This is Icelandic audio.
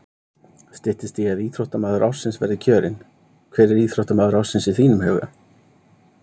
Styttist í að íþróttamaður ársins verði kjörinn, hver er íþróttamaður ársins í þínum huga?